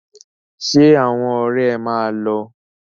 Ṣé àwọn ọ̀rẹ́ máa lọ?